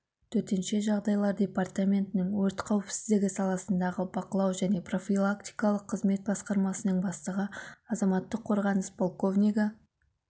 төтенше жағдайлар департаментінің өрт қауіпсіздігі саласындағы бақылау және профилактикалық қызмет басқармасының бастығы азаматтық қорғаныс полковнигі